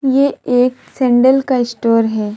ये एक सैंडल का स्टोर है।